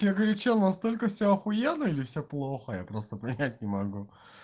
я говорю что настолько всё ахуенно или всё плохо я просто понять не могу